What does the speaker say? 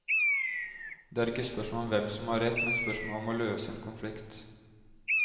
Det er ikke spørsmål om hvem som har rett, men spørsmål om å løse en konflikt.